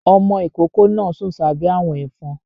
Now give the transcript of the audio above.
Ọmọ ìkókó náà sùn sábẹ́ àwọ̀n ẹ̀fọn